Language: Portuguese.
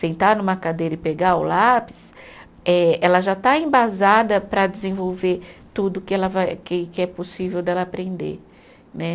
Sentar numa cadeira e pegar o lápis, eh ela já está embasada para desenvolver tudo que ela vai, que que é possível dela aprender né.